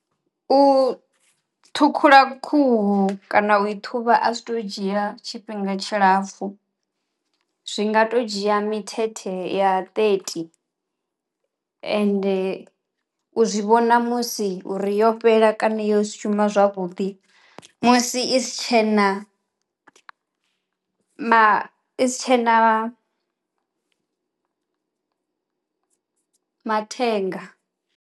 U ṱhukhula khuhu kana u i ṱhuvha a zwi to dzhia tshifhinga tshilapfhu, zwi nga to dzhia mithethe ya thirty ende u zwi vhona musi uri yo fhela kana yo shuma zwavhuḓi musi i si tshena ma i si tshena mathenga.